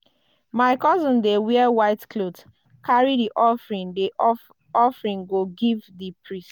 my cousin dey wear white cloth carry di offering di offering go give di priest.